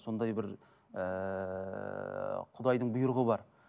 сондай бір ыыы құдайдың бұйрығы бар